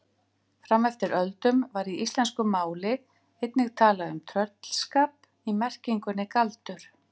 Fram eftir öldum var í íslensku máli einnig talað um tröllskap í merkingunni galdur.